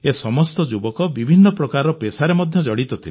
ଏ ସମସ୍ତ ଯୁବକ ବିଭିନ୍ନ ପ୍ରକାରର ପେସା ସହିତ ଜଡ଼ିତ